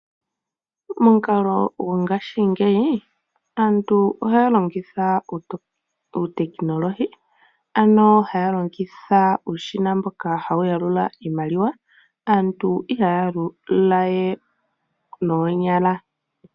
Momukalo go ngashingeyi aantu ohaya longitha uutekinolohi, ano haya longitha uushina mboka hawu yalula iimaliwa. Aantu ihaya yalulawe noonyala.